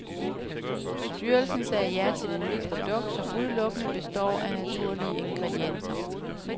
Styrelsen sagde ja til det nye produkt, som udelukkende består af naturlige ingredienser.